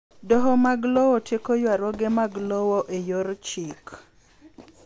Doho mag lowo tieko ywaruoge mag lowo e yor chik